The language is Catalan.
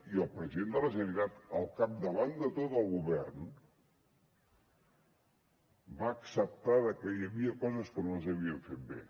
i el president de la generalitat al capdavant de tot el govern va acceptar que hi havia coses que no les havíem fet bé